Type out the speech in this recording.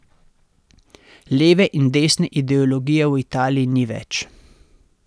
Leve in desne ideologije v Italiji ni več.